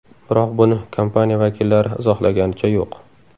Biroq buni kompaniya vakillari izohlaganicha yo‘q.